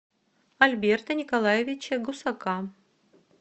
альберта николаевича гусака